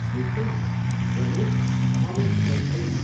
निश्चय नै। हेर्नुहोस् अमेट स्याही छैन।